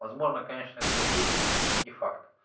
возможно конечно это и есть но не факт